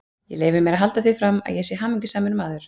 Ég leyfi mér að halda því fram, að ég sé hamingjusamur maður.